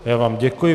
Já vám děkuji.